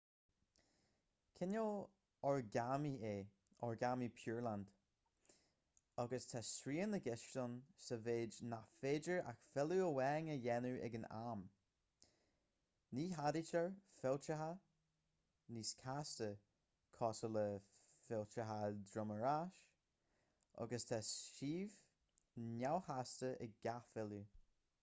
cineál oragámaí é oragámaí pureland agus tá srian i gceist ann sa mhéid nach féidir ach filleadh amháin a dhéanamh ag an am ní cheadaítear fillteacha níos casta cosúil le fillteacha droim ar ais agus tá suíomh neamhchasta ag gach filleadh